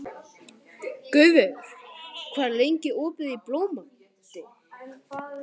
Guðveigur, hvað er lengi opið í Blómalandi?